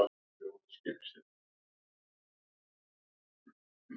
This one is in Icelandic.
Við vorum fyrst og fremst bara ánægðar með okkar leik.